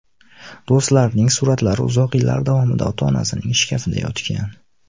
Do‘stlarining suratlari uzoq yillar davomida ota-onasining shkafida yotgan.